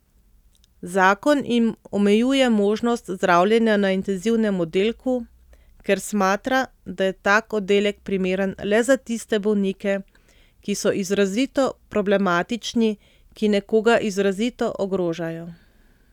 Zakon jim omejuje možnost zdravljenja na intenzivnem oddelku, ker smatra, da je tak oddelek primeren le za tiste bolnike, ki so izrazito problematični, ki nekoga izrazito ogrožajo.